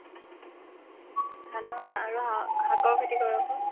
ধানৰ আৰু শাক ~ শাকৰ খেতি কৰো আকৌ